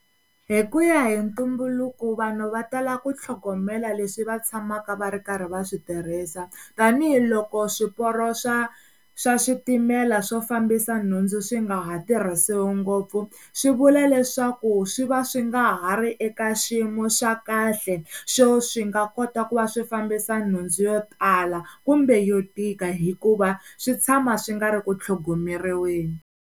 Hi ku ya hi ntumbuluko vanhu va tala ku tlhogomela leswi va tshamaka va ri karhi va swi tirhisa tanihiloko swiporo swa swa switimela swo fambisa nhundzu swi nga ha tirhisiwi ngopfu swi vula leswaku swi va swi nga ha ri eka xiyimo xa kahle xo swi nga kota ku va swi fambisa nhundzu yo tala kumbe yo tika hikuva swi tshama swi nga ri ku tlhogomeriweni.